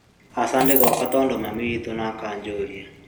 Aca ndigoka tondu mami witu nĩ akajuria